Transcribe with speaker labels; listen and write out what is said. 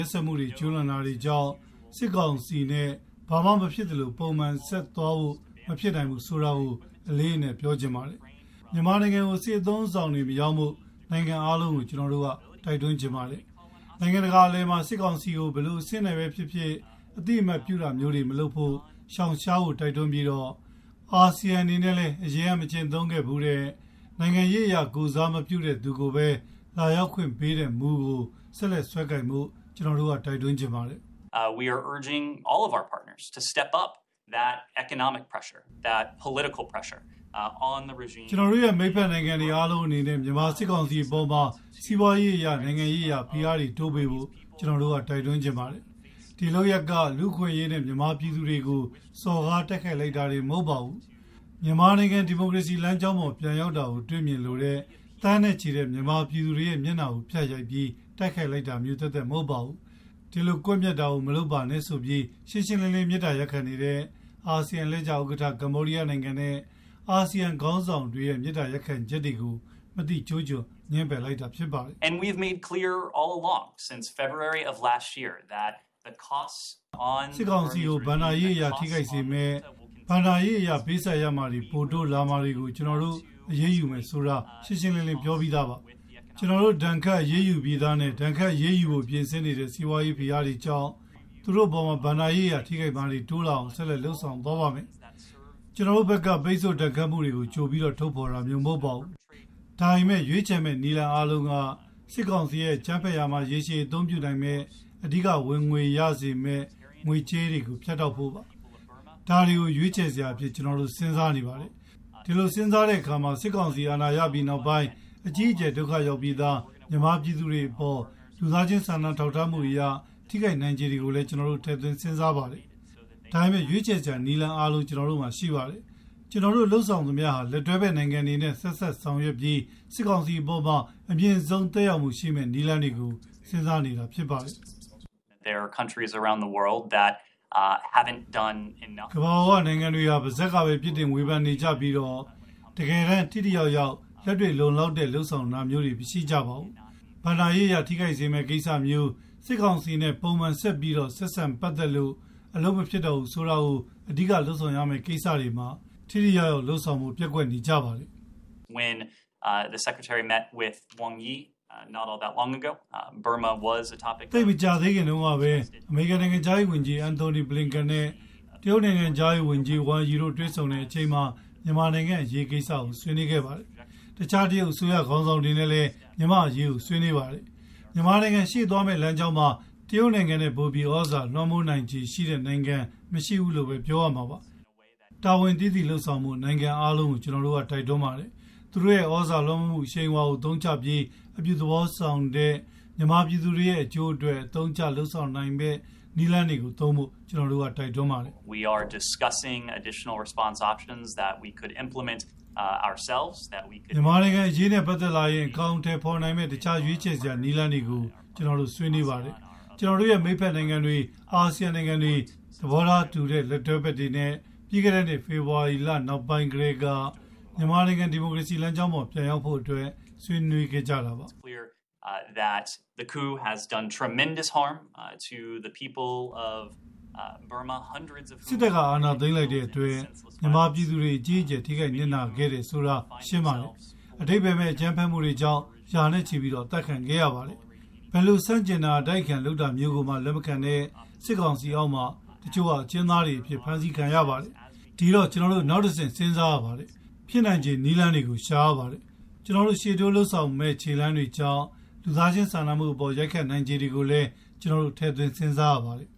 Speaker 1: က်စက်မှုတွေကျူးလွန်တာတွေကြောင့် စစ်ကောင်စီနဲ့ဘာမှမဖြစ်သလို ပုံမှန် ဆက်ဆက်ဆံဖို့ မဖြစ်နိုင်ဘူးဆိုတာကို အလေးအနက်ပြောချင်ပါတယ်။ နိုင်ငံအားလုံး မြန်မာနိုင်ငံကို စစ်လက်နက် အသုံးအဆောင် ပစ္စည်းတွေမရောင်းဖို့ ကျနော်တို့ တိုက်တွန်းချင်ပါတယ်။ နိုင်ငံတကာအလယ်မှာ စစ်ကောင်စီကို ဘယ်လို အဆင့်နဲ့ပဲဖြစ်ဖြစ် အသိအမှတ်ပြုတာမျိုးတွေ မလုပ်ဖို့၊ ရှောင်ရှားဖို့ တိုက်တွန်းပြီးတော့ အာဆီယံအနေနဲ့လည်း အရင်က မကျင့်သုံးဘူးတဲ့၊ နိုင်ငံရေးအရ ကိုယ်စားမပြုတဲ့သူကိုပဲ လာရောက်ခွင့်ပေးတဲ့မူကို ဆက်လက် စွဲကိုင်ဖို့ ကျနော်တို့ တိုက်တွန်းချင်ပါတယ်။ ကျနော်တို့ရဲ့ မိတ်ဖက်နိုင်ငံအားလုံးအနေနဲ့ မြန်မာစစ်ကောင်စီအပေါ်မှာ စီးပွားရေးအရ နိုင်ငံရေးဖိအားတွေတိုးပေးဖို့ ကျနော်တို့က တိုက်တွန်းချင်ပါတယ်။ ဒီလုပ်ရပ် က လူ့အခွင့်အရေးနဲ့ မြန်မာပြည်သူတွေကို စော်ကားတိုက်ခိုက်လိုက်တာတင် မဟုတ်ပါဘူး။ မြန်မာနိုင်ငံ ဒီမိုကရေစီလမ်းကြောင်းပေါ် ပြန်ရောက်တာကို တွေ့မြင်လိုတဲ့ သန်းနဲ့ချီတဲ့ မြန်မာပြည်သူတွေရဲ့ မျက်နှာကို ဖြတ်ရိုက်ပြီး တိုက်ခိုက်လိုက်တာ သက်သက်တင် မဟုတ်ပါဘူး။ ဒီလို ကွပ်မျက်တာကို မလုပ်ပါနဲ့ဆိုပြီး ရှင်းရှင်းလင်းလင်း မေတ္တာရပ်ခံနေတဲ့ အာဆီယံ အလှည့်ကျဥက္ကဋ္ဌ၊ ကမ္ဘောဒီးယားနိုင်ငံနဲ့ အာဆီယံ ခေါင်းဆောင်တွေရဲ့ မေတ္တာရပ်ခံချက်တွေကို မသိကျိုးကျွံငြင်းပယ်လိုက်တာလည်းဖြစ်ပါတယ်
Speaker 2: ။ ပြီးခဲ့တဲ့ ဖေဖော်ဝါရီလ စစ်တပ်က အာဏာသိမ်းကတည်းက စစ်ကောင်စီဘက်က ဘဏ္ဍာရေးအရ ပြန်ပေးဆပ်ရမယ့် သူ့ရဲ့ ဝင်ငွေအပေါ်ထိခိ
Speaker 1: ုက်စေမယ့် အရေးယူမှုတွေ ပိုတိုးလာမယ်ဆိုတာ ကျနော်တို့က ရှင်းရှင်းလင်းလင်း ပြောပြီးသားပါ။ ကျနော်တို့ ဒဏ်ခတ်အရေးယူပြီးသားနဲ့ ဒဏ်ခတ်အရေးယူဖို့ ပြင်ဆင်နေတဲ့ စီးပွားရေး ဖိအားတွေကြောင့် သူတို့ ဝင်ငွေ ပိုပြီး ထိခိုက်အောင် ဆက်လက် လုပ်ဆောင်သွားပါ့မယ်။ ကျနော်တို့ဘက်က ပိတ်ဆို့ဒဏ်ခတ်မှုတွေ ဘာတွေလုပ်မယ်ဆိုပြီး ကြိုပြီး ထုတ်ဖေါ်တာမျိုး မဟုတ်ပါဘူး။ ဒါပေမယ့် ရွေးချယ်မယ့်နည်းလမ်းအားလုံးဟာ စစ်ကောင်စီ အကြမ်းဖက်ရာမှာ ရေရှည် အသုံးပြုမယ့် အဓိက ဝင်ငွေရမယ့်စေမယ့် ငွေကြေးတွေကို ဖြတ်တောက်ဖို့ပါ။ ဒါတွေကို ကျနော်တို့ စဉ်းစားနေပါတယ်။ ဒီလို စဉ်းစားတဲ့အခါမှာ စစ်ကောင်စီ အာဏာရယူပြီးနောက်ပိုင်းမှာ သိပ်ကို အတိဒုက္ခရောက်နေပြီးသား မြန်မာပြည်သူတွေအပေါ် လူသားချင်းစာနာထောက်ထားမှုအရ ထိခိုက်နိုင်ခြေတွေကို ကျနော်တို့က စဉ်းစားပါတယ်။ ရွေးချယ်စရာ နည်းလမ်းအားလုံး ကျနော်တို့မှာ ရှိပါတယ်။ ကျနော်တို့လုပ်ဆောင်သမျှဟာ လက်တွဲဖက် နိုင်ငံတွေနဲ့ ဆက်စပ်ဆောင်ရွက်ပြီး စစ်ကောင်စီအပေါ်မှာ အမြင့်ဆုံး သက်ရောက်မှု ရှိမယ့် နည်းလမ်းတွေကို ကျနော်တို့ စဉ်းစားနေတာဖြစ်ပါတယ်။
Speaker 2: ကမ္ဘာပေါ်က နိုင်ငံတ
Speaker 1: ွေက ပါးစပ်ကပဲ ပြစ်တင်ဝေဖန်နေကြပြီးတော့ တကယ်တမ်း ထိရောက်အောင် လက်တွေ့လုံလောက်တဲ့ လုပ်ဆောင်တာမျိုးတွေ မရှိကြပါဘူး။ ငွေကြေးအရ ထိခိုက်စေမယ့် ကိစ္စမျိုး၊ စစ်ကောင်စီနဲ့ ပုံမှန်ဆက်ပြီး ပတ်သက်ဖို့ လုပ်ငန်းလုပ်ဖို့ မဖြစ်နိုင်ဘူးဆိုတာမျိုး အဓိက လုပ်ဆောင်ရမယ့်ကိစ္စတွေမှာ ထိရောက်အောင်လုပ်ဆောင်ဖို့ လိုနေပါတယ်။
Speaker 2: သိပ်မကြာသေးခင်
Speaker 1: တုန်းကပဲ နိုင်ငံခြားရေးဝန်ကြီး Blinken နဲ့ တရုတ် နိုင်ငံခြားရေး ဝန်ကြီး Wang Ye တို့ တွေ့ဆုံတဲ့အချိန် မြန်မာနိုင်ငံအရေးကိစ္စကို ဆွေးနွေးခဲ့ပါတယ်။ တခြား တရုတ်အစိုးရ ခေါင်းဆောင်တွေနဲ့လည်း မြန်မာ့အရေးကို ဆွေးနွေးပါတယ်။ မြန်မာနိုင်ငံ ရှေ့သွားမယ့်လမ်းကြောင်းမှာ တရုတ်နိုင်ငံထက် ပိုပြီး သြဇာလွှမ်းမိုးနိုင်ခြေရှိတဲ့ နိုင်ငံ မရှိဘူးလို့ပဲ ပြောရမှာပါ။ တာဝန်သိသိ လုပ်ဆောင်ဖို့ နိုင်ငံအားလုံးကို ကျနော်တို့က တိုက်တွန်းပါတယ်။ သူတို့ရဲ့ သြဇာလွှမ်းမိုးမှု အရှိန်အဝါကို အသုံးချပြီး အပြုသဘောဆောင်ဖို့၊ မြန်မာပြည်သူတွေရဲ့ အကျိုးအတွက် သုံးဖို့ ကျနော်တို့က တိုက်တွန်းပါတယ်
Speaker 2: ။ မြန်မာနိုင်င
Speaker 1: ံအရေးနဲ့ ပတ်သက်လာရင် အကောင်အထည်ဖေါ်နိုင်မယ့် တခြား ရွေးချယ်စရာလမ်းတွေကို ကျနော်တို့ ဆွေးနွေးပါတယ်။ ကျနော်တို့ရဲ့ မိတ်ဖက်နိုင်ငံတွေ၊ အာဆီယံနိုင်ငံတွေ၊ သဘောထားတူတဲ့ လက်တွဲဖက်တွေနဲ့ ပြီးခဲ့တဲ့ နှစ် ဖေဖော်ဝါရီလကတည်းက လက်တွဲလုပ်ခဲ့တဲ့ နိုင်ငံတွေနဲ့ မြန်မာနိုင်ငံ ဒီမိုကရေစီ လမ်းကြောင်းပေါ် ပြန်ရောက်ဖို့အတွက် ဆွေးနွေးတာပါ။ စ
Speaker 2: စ်တပ်က အာဏာသ
Speaker 1: ိမ်းလိုက်တာဟာ မြန်မာပြည်သူတွေအပေါ် အကြီးအကျယ် ထိခိုက်နစ်နာစေတယ်ဆိုတာ ရှင်းပါတယ်။ အဓိပ္ပါယ်မဲ့ အကြမ်းဖက်မှုတွေကြောင့် ရာနဲ့ချီပြီး အသတ်ခံခဲ့ရပါတယ်။ ဘယ်လို ဆန့်ကျင်တာ အတိုက်ခံလုပ်တာကိုမှ လက်မခံတဲ့ စစ်ကောင်စီ အောက်မှာ တချို့က အကျဉ်းသားတွေအဖြစ် ဖမ်းဆီးခံရပါတယ်။ ဒီတော့ ကျနော်တို့ နောက်တဆင့် စဉ်းစားရပါတယ်။ ဖြစ်နိုင်ခြေ နည်းလမ်းတွေကို ရှာရပါတယ်။ ကျနော်တို့ လုပ်ဆောင်မယ့် နောက်ထပ်ခြေလှမ်းတွေကြောင့် လူသားချင်းစာနာမှုအပေါ် ရိုက်ခတ်နိုင်ခြေတွေကိုလည်း ကျနော်တို့ ထည့်သွင်းစဉ်းစားရပါတယ်